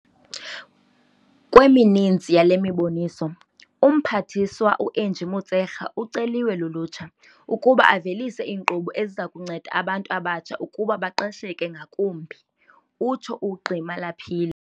Kwemininzi yale miboniso, uMphathiswa u-Angie Motshekga uceliwe lulutsha ukuba avelise iinkqubo eziza kunceda abantu abatsha ukuba baqesheke ngakumbi, utsho uGqi Malapile.